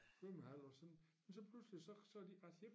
Svømmehal og sådan men så pludselig så så de faktisk ik